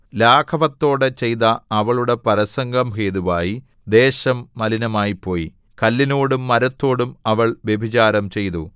ലാഘവത്തോടെ ചെയ്ത അവളുടെ പരസംഗം ഹേതുവായി ദേശം മലിനമായിപ്പോയി കല്ലിനോടും മരത്തോടും അവൾ വ്യഭിചാരം ചെയ്തു